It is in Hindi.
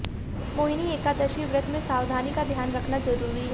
मोहिनी एकादशी व्रत में सावधानी का ध्यान रखना जरूरी है